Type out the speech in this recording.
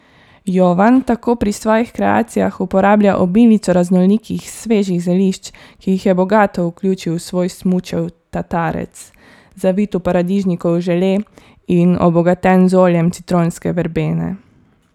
Jovan tako pri svojih kreacijah uporablja obilico raznolikih svežih zelišč, ki jih je bogato vključil v svoj smučev tatarec, zavit v paradižnikov žele in obogaten z oljem citronske verbene.